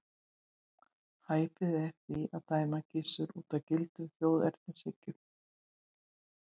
Hæpið er því að dæma Gissur út frá gildum þjóðernishyggjunnar.